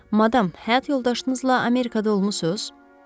Madam, həyat yoldaşınızla Amerikada olmusuz?